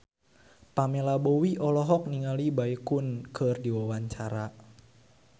Pamela Bowie olohok ningali Baekhyun keur diwawancara